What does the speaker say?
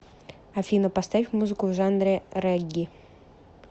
афина поставь музыку в жанре регги